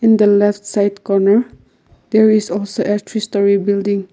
in the left side corner there is also building.